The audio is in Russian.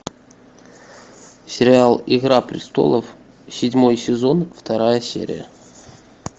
сериал игра престолов седьмой сезон вторая серия